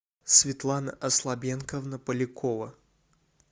светлана аслабенковна полякова